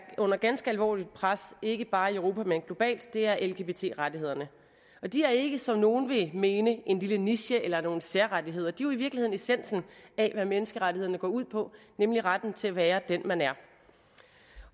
under ganske alvorligt pres ikke bare i europa men globalt er lgbt rettighederne de er ikke som nogle vil mene en lille niche eller nogle særrettigheder de er jo i virkeligheden essensen af hvad menneskerettighederne går ud på nemlig retten til at være den man er